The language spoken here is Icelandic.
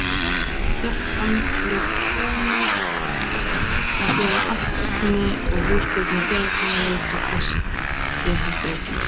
Hét hann að því búnu að gefa allt efni og húsgögn í félagsheimilið og gistiherbergin.